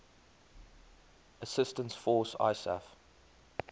assistance force isaf